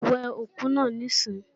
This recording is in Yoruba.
We òkú náà níìsín!